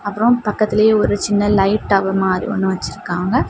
அப்புறம் பக்கத்துலயே ஒரு சின்ன லைட் டவர் மாறி ஒன்னு வச்சிருக்காங்க.